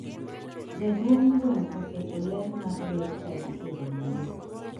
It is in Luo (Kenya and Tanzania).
Jaduong' gweng oketo ler mar ber chadi e romone.